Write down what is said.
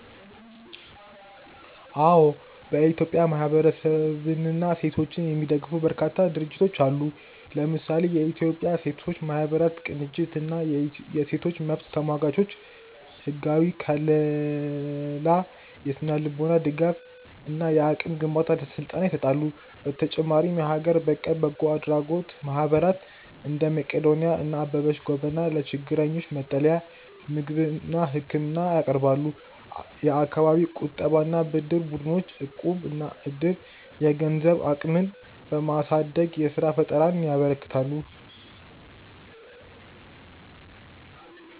አዎ፥ በኢትዮጵያ ማህበረሰብንና ሴቶችን የሚደግፉ በርካታ ድርጅቶች አሉ። ለምሳሌ፦ የኢትዮጵያ ሴቶች ማህበራት ቅንጅት እና የሴቶች መብት ተሟጋቾች፦ ህጋዊ ከልላ፣ የስነ-ልቦና ድጋፍ እና የአቅም ግንባታ ስልጠና ይሰጣሉ። በተጨማሪም የሀገር በቀል በጎ አድራጎት ማህበራት (እንደ መቅዶንያ እና አበበች ጎበና) ለችግረኞች መጠለያ፣ ምግብና ህክምና ያቀርባሉ። የአካባቢ የቁጠባና ብድር ቡድኖች (እቁብ/ዕድር)፦ የገንዘብ አቅምን በማሳደግ የስራ ፈጠራን ያበረታታሉ።